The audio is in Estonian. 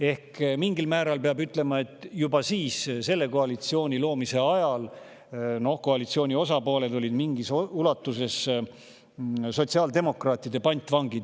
Ehk peab ütlema, et juba siis, selle koalitsiooni loomise ajal, olid teised koalitsiooni osapooled mingil määral sotsiaaldemokraatide pantvangid.